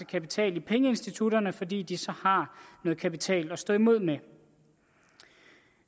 kapital i pengeinstitutterne fordi de så har noget kapital at stå imod med